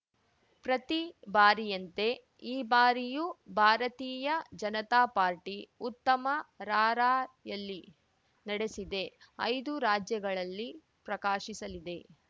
ಪ್ರತಿ ಬಾರಿಯಂತೆ ಈ ಬಾರಿಯೂ ಭಾರತೀಯ ಜನತಾ ಪಾರ್ಟಿ ಉತ್ತಮ ರಾರ‍ಯಲಿ ನಡೆಸಿದೆ ಐದೂ ರಾಜ್ಯಗಳಲ್ಲಿ ಪ್ರಕಾಶಿಸಲಿದೆ